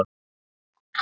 Er þér sama?